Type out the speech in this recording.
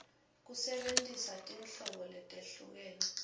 kusebentisa tinhlobo letehlukene